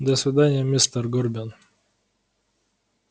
до свидания мистер горбин